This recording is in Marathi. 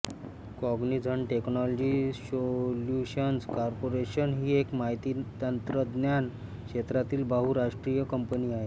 कॉग्निझंट टेक्नोलॉजी सोल्युशन्स कॉर्पोरेशन ही एक माहितीतंत्रज्ञान क्षेत्रातील बहुराष्ट्रीय कंपनी आहे